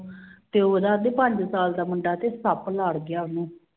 ਤੇ ਉਹਦਾ ਪੰਜ ਸਾਲ ਦਾ ਮੁੰਡਾ ਦੇ ਸੱਪ ਲੜ ਗਿਆ ਸੀ